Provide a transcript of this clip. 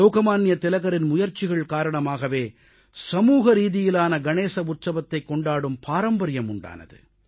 லோகமான்ய திலகரின் முயற்சிகள் காரணமாகவே சமூகரீதியிலான கணேச உற்சவத்தைக் கொண்டாடும் பாரம்பரியம் உண்டானது